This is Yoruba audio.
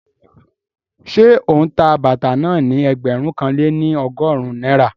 Ṣé ó ń ta bàtà náà ní ẹgbẹ̀rún kan lé ní ọgọ́rin náírà?